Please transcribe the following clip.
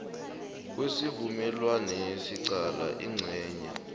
kwesivumelwanesi qala incenye